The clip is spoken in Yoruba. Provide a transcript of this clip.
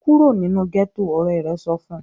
"Kúrò nínú gẹ́tọ̀!", Ọ̀rẹ́ rẹ̀ sọ fun